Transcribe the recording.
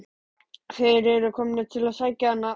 Þeir eru komnir til að sækja hana.